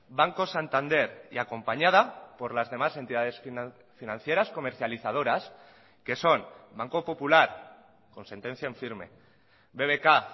banco santander y acompañada por las demás entidades financieras comercializadoras que son banco popular con sentencia en firme bbk